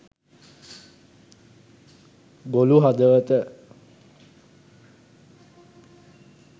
ගොළු හදවත